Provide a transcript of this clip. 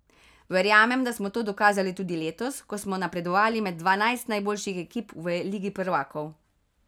Verjamem, da smo to dokazali tudi letos, ko smo napredovali med dvanajst najboljših ekip v ligi prvakov.